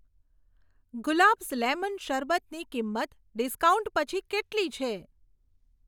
Gulabs lemon શરબતની કિંમત discount પછી કેટલી છે?